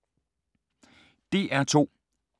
DR2